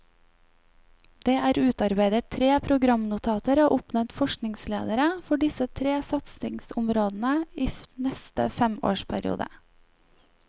Det er utarbeidet tre programnotater og oppnevnt forskningsledere for disse tre satsingområdene i neste femårsperiode.